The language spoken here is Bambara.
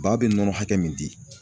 Ba bɛ nɔnɔ hakɛ min di.